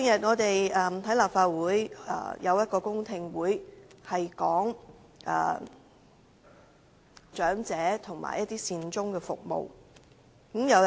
早兩天，立法會曾舉行公聽會討論長者和善終服務。